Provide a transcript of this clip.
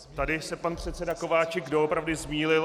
Tady se pan předseda Kováčik doopravdy zmýlil.